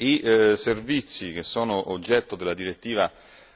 I servizi che sono oggetto della direttiva